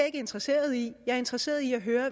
ikke interesseret i jeg er interesseret i at høre